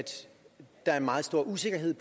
der er meget stor usikkerhed